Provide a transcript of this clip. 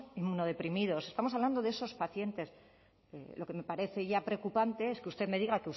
inmunodeprimidos estamos hablando de esos pacientes lo que me parece ya preocupante es que usted me diga